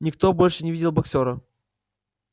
никто больше не видел боксёра